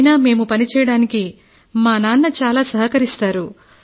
అయినా మేము పని చేయడానికి మా నాన్న చాలా ప్రోత్సహిస్తున్నారు